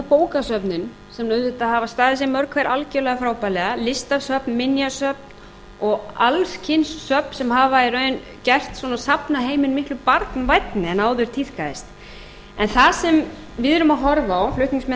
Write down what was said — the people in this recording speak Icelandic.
bókasöfnin sem auðvitað hafa staðið sig mörg hver algjörlega frábærlega listasöfn minjasöfn og alls kyns söfn sem hafa í raun gert safnaheiminn miklu barnvænni heldur en áður tíðkaðist en það sem við erum að horfa á flutningsmenn